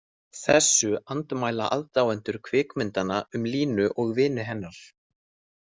Þessu andmæla aðdáendur kvikmyndanna um Línu og vini hennar.